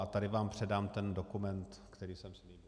A tady vám předám ten dokument, který jsem slíbil.